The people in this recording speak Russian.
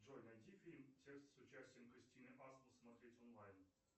джой найди фильм текст с участием кристины асмус смотреть онлайн